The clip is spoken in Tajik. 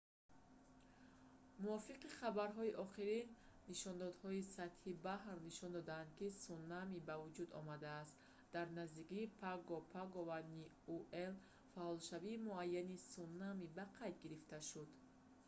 муовиқи хабарҳои охирин нишондодҳои сатҳи баҳр нишон доданд ки сунами ба вуҷуд омадааст дар наздикии паго-паго ва ниуэ фаъолшавии муайяни сунами ба қайд гирифта шуд